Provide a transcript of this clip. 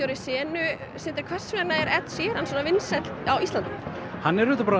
senu hvers vegna er Sheeran svona vinsæll hann er auðvitað bara